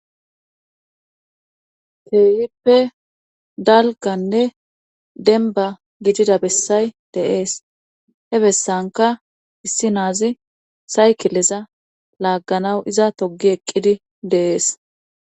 teeyippe dalganne denba gidida bessay deees he bessanka issi naazi saykileza laagganaw iza togi eqqidi deees